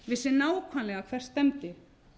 vissi nákvæmlega hvert stefndi